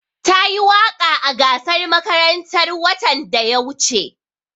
Tayi waƙa a gasar makarantar watan da ya wuce.